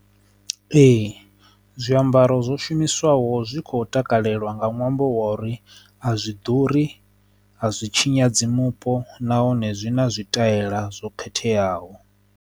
Ee, zwiambaro zwo shumiswaho zwi kho takaleliwa nga ṅwambo wa uri a zwi ḓuri a zwi tshinyadza mupo nahone zwi na zwi ṱahela zwo khetheaho.